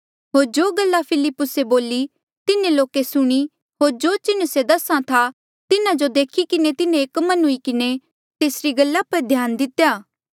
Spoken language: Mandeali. होर जो गल्ला फिलिप्पुसे बोली तिन्हें लोके सुणी होर जो चिन्ह से दस्हा था तिन्हा जो देखी किन्हें तिन्हें एक मन हुई किन्हें तेसरी गल्ला पर ध्यान दितेया